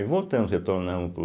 Voltamos, retornamos para o